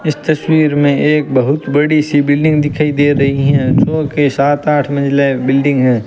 इस तस्वीर में एक बहुत बड़ी सी बिल्डिंग दिखाई दे रही है जो के सात आठ मंजिले बिल्डिंग है।